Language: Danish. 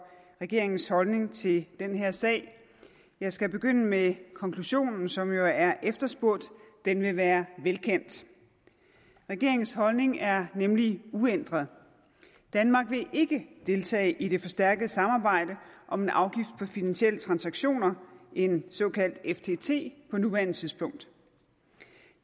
regeringens holdning til den her sag jeg skal begynde med konklusionen som jo er efterspurgt og den vil være velkendt regeringens holdning er nemlig uændret danmark vil ikke deltage i det forstærkede samarbejde om en afgift på finansielle transaktioner en såkaldt ftt på nuværende tidspunkt